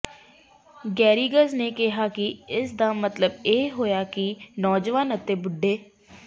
ਗੈਰਿਗਜ਼ ਨੇ ਕਿਹਾ ਕਿ ਇਸਦਾ ਮਤਲਬ ਇਹ ਹੋਇਆ ਹੈ ਕਿ ਨੌਜਵਾਨਾਂ ਅਤੇ ਬੁੱ